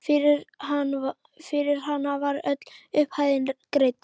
Fyrir hana var öll upphæðin greidd.